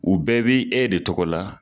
U bɛɛ b'i e de tɔgɔ la.